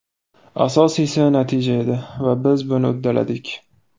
Asosiysi natija edi va biz buni uddaladik.